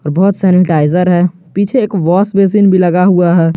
और बहुत सैनिटाइजर हैं पीछे एक वॉश बेसिन भी लगा हुआ है।